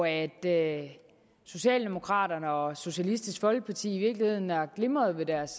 at socialdemokraterne og socialistisk folkeparti i virkeligheden har glimret ved deres